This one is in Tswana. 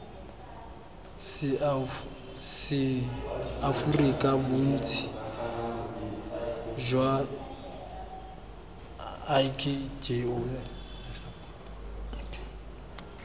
seaforika bontsi jwa ik jo